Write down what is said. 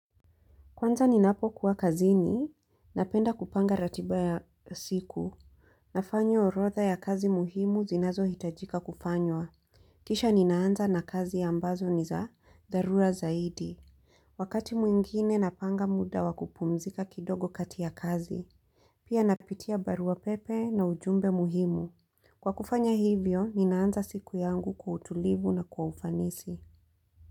Kwanza ninapo kuwa kazini, napenda kupanga ratiba ya siku Nafanyo orodha ya kazi muhimu zinazohitajika kufanywa. Kisha ninaanza na kazi ya ambazo ni za dharura zaidi. Wakati mwingine napanga muda wakupumzika kidogo kati ya kazi. Pia napitia barua pepe na ujumbe muhimu. Kwa kufanya hivyo, ninaanza siku yangu kwa utulivu na kwa ufanisi.